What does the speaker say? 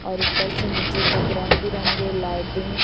और ऊपर से नीचे तक रंग बिरंगे लाइटिंग --